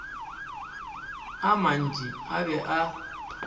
a mantši a be a